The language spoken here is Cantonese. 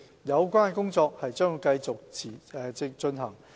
有關工作將會持續進行。